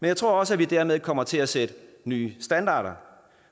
jeg tror også at vi dermed kommer til at sætte nye standarder